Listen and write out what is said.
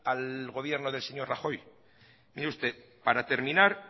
al gobierno del señor rajoy mire usted para terminar